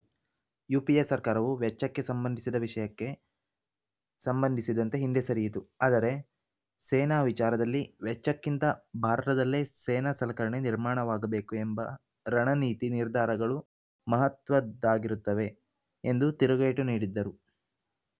UPA ಸರ್ಕಾರವು ವೆಚ್ಚಕ್ಕೆ ಸಂಬಂಧಿಸಿದ ವಿಷಯಕ್ಕೆ ಸಂಬಂಧಿಸಿದಂತೆ ಹಿಂದೆ ಸರಿಯಿತು ಆದರೆ ಸೇನಾ ವಿಚಾರದಲ್ಲಿ ವೆಚ್ಚಕ್ಕಿಂತ ಭಾರತದಲ್ಲೇ ಸೇನಾ ಸಲಕರಣೆ ನಿರ್ಮಾಣವಾಗಬೇಕು ಎಂಬ ರಣನೀತಿ ನಿರ್ಧಾರಗಳು ಮಹತ್ವದ್ದಾಗಿರುತ್ತವೆ ಎಂದು ತಿರುಗೇಟು ನೀಡಿದರು